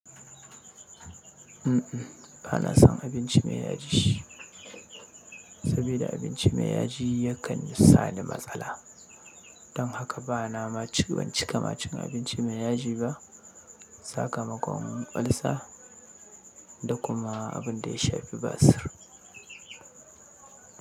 Uhm, bana son abinci mai yaji, sabida abinci mai yaji yakan sa ni matsala. Don haka bana ma ci, ban cika ma cin abinci mai yaji ba. Sa kamakon olsa da kuma abin da ya shafi basir.